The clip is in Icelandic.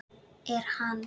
Er hann.